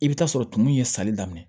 I bɛ t'a sɔrɔ tumu in ye sali daminɛ